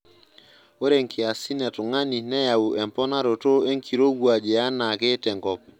Ore nkiaisn e tungani neyau emponaroto enkirowuaj yaanaake tenkop.